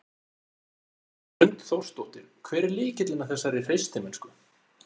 Hrund Þórsdóttir: Hver er lykillinn að þessari hreystimennsku?